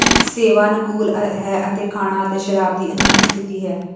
ਸੇਵਾ ਅਨੁਕੂਲ ਹੈ ਅਤੇ ਖਾਣਾ ਅਤੇ ਸ਼ਰਾਬ ਦੀ ਅਨੋਖੀ ਸਥਿਤੀ ਹੈ